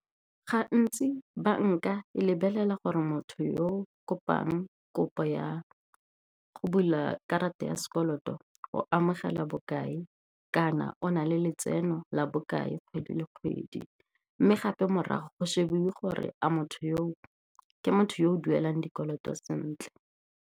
Gantsi banka e lebelela gore motho yo kopang kopo ya go bula karata ya sekoloto o amogela bokae, kana o na le letseno la bokae kgwedi le kgwedi. Mme gape morago go shebiwe gore a motho yo ke motho yo o duelang dikoloto sentle.